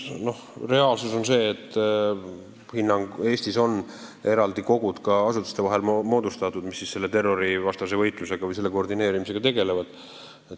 Reaalsus on see, et Eestis on ka eraldi asutustevahelised kogud moodustatud, mis terrorivastase võitluse või selle koordineerimisega tegelevad.